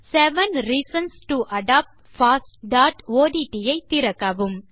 seven reasons to adopt fossஒட்ட் ஐ திறக்கவும்